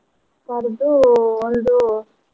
ಕರ್ದು ಒಂದು.